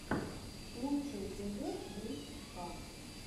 лучший эпизод брич ка